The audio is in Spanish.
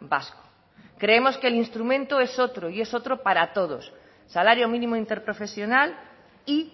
vasco creemos que el instrumento es otro y es otro para todos salario mínimo interprofesional y